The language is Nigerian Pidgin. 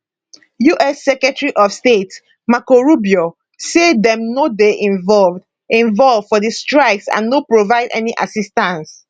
us secretary of state marco rubio say dem no dey involved involved for di strikes and no provide any assistance